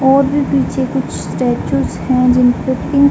और भी पीछे कुछ स्टेचूस हैं। जिनपे पिंक --